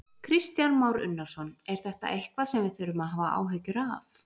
Kristján Már Unnarsson: Er þetta eitthvað sem við þurfum að hafa áhyggjur af?